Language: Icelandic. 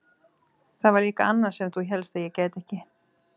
Það var líka annað sem þú hélst að ég gæti ekki.